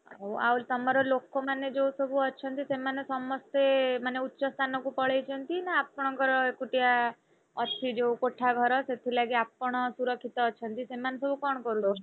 ଓ ଆଉ ତମର ଲୋକମାନେ ଯୋଉ ସବୁ ଅଛନ୍ତି ସେମାନେ ସମସ୍ତେ ମାନେ ଉଚ୍ଚ ସ୍ଥାନକୁ ପଳେଇଛନ୍ତି ନା ଆପଣଙ୍କର ଏକୁଟିଆ ଅଛି ଯୋଉ କୋଠା ଘର ସେଥିଲାଗି ଆପଣ ସୁରକ୍ଷିତ ଅଛନ୍ତି? ସେମାନେ ସବୁ କଣ କରୁଛନ୍ତି?